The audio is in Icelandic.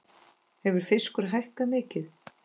Hefur fiskur hækkað mikið?